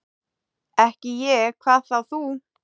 Ekki ég, hvað þá þú.